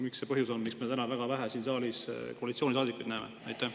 Mis see põhjus on, miks me täna siin saalis väga vähe koalitsioonisaadikuid näeme?